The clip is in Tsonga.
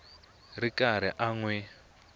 ri karhi a n wi